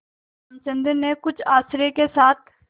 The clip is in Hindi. रामचंद्र ने कुछ आश्चर्य के साथ